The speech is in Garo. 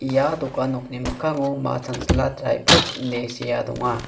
ia dokan nokni mikkango ma chanchila drai pruts ine sea donga.